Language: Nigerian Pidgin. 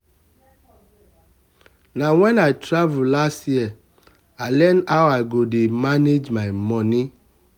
na wen i travel last year i learn how i go dey manage my moni.